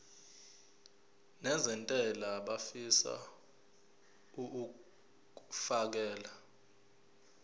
nezentela abafisa uukfakela